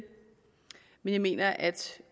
men jeg mener at